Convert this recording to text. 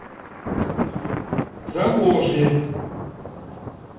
заволжье